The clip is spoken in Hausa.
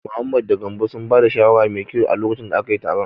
Mohammed da Gambo sun ba da shawara mai kyau a lokacin da akayi taron.